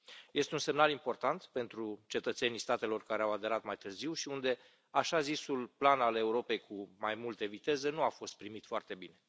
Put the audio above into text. Este un semnal important pentru cetățenii statelor care au aderat mai târziu și unde așa zisul plan al Europei cu mai multe viteze nu a fost primit foarte bine.